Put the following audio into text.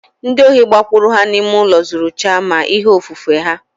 Ndi ohi gbakwuru ha n'ime ụlọ zuru chaa ma ihe ofufe ha